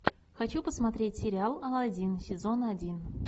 хочу посмотреть сериал алладин сезон один